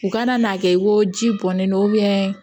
U kana n'a kɛ ko ji bɔnnen don